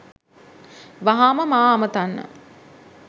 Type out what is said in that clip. වහාම මා අමතන්න